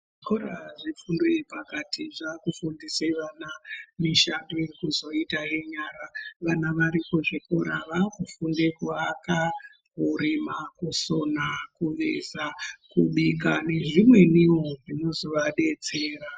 Zvikora zvefundo yepakati zvakufundise vana mishando yekuzoita yenyara. Vana vari kuzvikora vakufunde kuaka, kurima, kusona, kugeza kubika nezvimweniwo zvinozovadetsera.